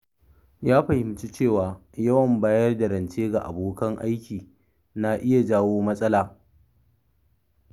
Ya fahimci cewa yawan bayar da rance ga abokan aiki na iya jawo matsala.